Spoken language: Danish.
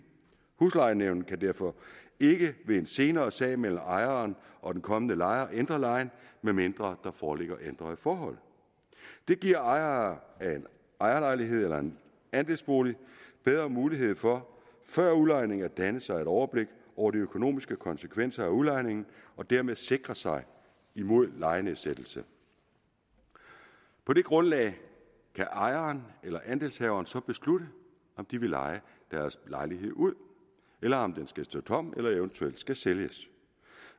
huslejenævnet kan derfor ikke ved en senere sag mellem ejeren og den kommende lejer ændre lejen medmindre der foreligger ændrede forhold det giver ejere af en ejerlejlighed eller andelsbolig bedre mulighed for før udlejning at danne sig et overblik over de økonomiske konsekvenser af udlejningen og dermed sikre sig imod lejenedsættelse på det grundlag kan ejeren eller andelshaveren så beslutte om de vil leje deres lejlighed ud eller om den skal stå tom eller eventuelt skal sælges